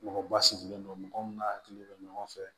Mɔgɔ ba sigilen don mɔgɔ min n'a hakili bɛ ɲɔgɔn fɛ